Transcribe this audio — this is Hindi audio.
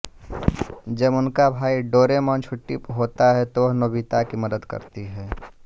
जब उसका भाई डोरेमॉन छुट्टी पर होता है तो वह नोबिता की मदद करती है